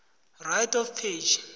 right of page